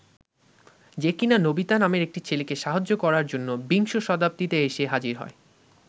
যে কিনা নোবিতা নামের একটি ছেলেকে সাহায্য করার জন্য বিংশ শতাব্দীতে এসে হাজির হয়।